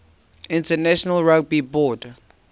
international rugby board